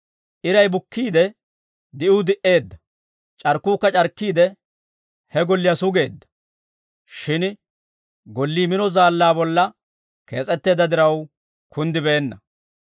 Iray bukkiide, di'uu di"eedda; c'arkkuukka c'arkkiide, he golliyaa sugeedda. Shin gollii mino zaallaa bolla kees'etteedda diraw, kunddibeenna.